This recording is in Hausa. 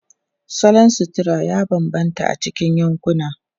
Salon sutura ya bambanta a cikin yankuna.